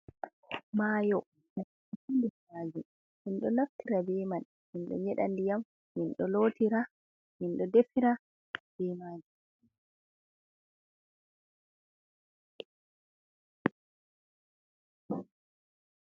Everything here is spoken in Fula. Mayo mayo majun minɗo naftira be man minɗo nyeɗa ndiyam minɗo defira be majum